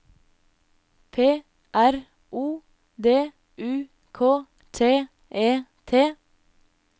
P R O D U K T E T